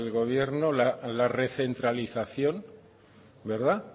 gobierno la recentralización verdad